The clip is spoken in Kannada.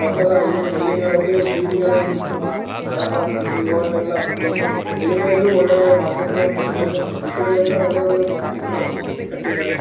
ಮೊದ್ಲಲ್ಲ ಹಳ್ಳಿ ಹಳ್ಳಿಗಳ್ಲಲಿ ಬೀದಿಗಲ್ಲಲ್ಲಿ ನಿಂತು ಮಾ ಮಾರಾಟ ಆಕ್ತಿತ್ತು ಇವೆಗೆಲ್ಲ ಬಿ ಹಳ್ಳಿಗಳ್ಲಲಿ ಒಳ್ಳೆ ಒಳ್ಳೆ ಮಾರ್ಕೆಟ್ಗಳನ್ನು ಕಟ್ಟಿದ್ದಾರೆ ಮತ್ತು ಸಿಟಿಗಳ್ಳನ್ನು ಒಳ್ಳೆ ಒಳ್ಳೆ ಮಾರ್ಕೆಟ್ಗಳು ಕಟ್ಟಿದ್ದಾರೆ.